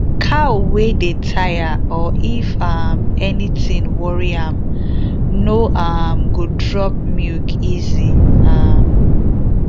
cow wey dey tire or if um anything worry am no um go drop milk easy um